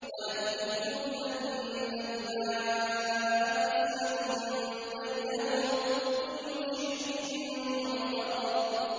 وَنَبِّئْهُمْ أَنَّ الْمَاءَ قِسْمَةٌ بَيْنَهُمْ ۖ كُلُّ شِرْبٍ مُّحْتَضَرٌ